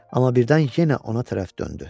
Amma birdən yenə ona tərəf döndü.